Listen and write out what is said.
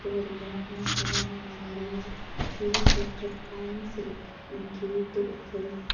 இது ஒரு morning time இங்க நெறையா ட்ரீஸ் இருக்கு பிளான்ட்ஸ் இருக்கு கேட்டு இருக்கு.